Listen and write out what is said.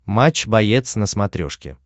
матч боец на смотрешке